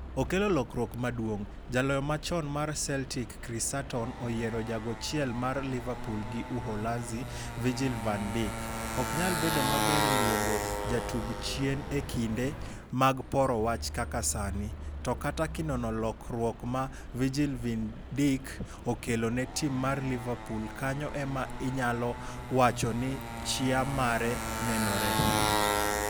Okelo lokruok maduong'' Jaloyo machon mar Celtic Chris Sutton oyiero jago chiel mar Liverpool gi Uholanzi Virgil van Dijk "ok nyal bedo maber luongo jatug chien e kinde mag poro wach kaka sani, to kata kinono lokruok ma Virgil van Dijk okelo ne tim mar Liverpool kanyo ema inyalo wacho ni chia mare nenore.